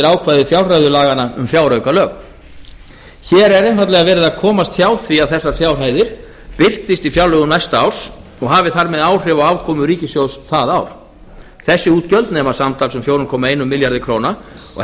ákvæði fjárreiðulaganna um fjáraukalög hér er einfaldlega verið að komast hjá því að þessar fjárhæðir birtist í fjárlögum næsta árs og hafi þar með áhrif á afkomu ríkissjóðs það ár þessi útgjöld nema samtals fjóra komma einum milljarði króna og